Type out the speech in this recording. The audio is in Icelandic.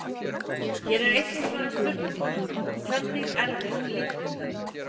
Hér er einnig svarað spurningunum: Hvernig erfist litblinda?